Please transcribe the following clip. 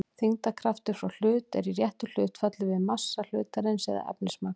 þyngdarkraftur frá hlut er í réttu hlutfalli við massa hlutarins eða efnismagn